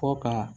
Fɔ ka